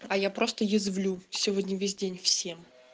а я просто язвлю сегодня весь день всем